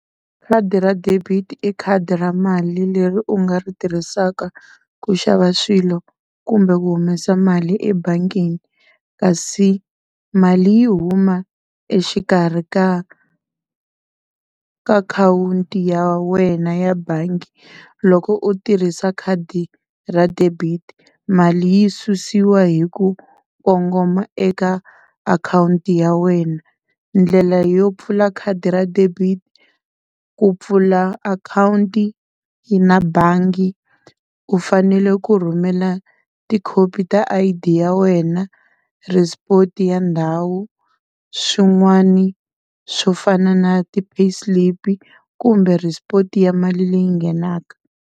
Khadi ra debit i khadi ra mali leri u nga ri tirhisaka ku xava swilo kumbe ku humesa mali ebangini. Kasi mali yi huma exikarhi ka ka akhawunti ya wena ya bangi loko u tirhisa khadi ra debit, mali yi susiwa hi ku kongoma eka akhawunti ya wena. Ndlela yo pfula khadi ra debit ku pfula akhawunti na bangi u fanele ku rhumela tikhopi ta I_D ya wena ya ndhawu swin'wana swo fana na ti pay slip kumbe ya mali leyi nghenaka.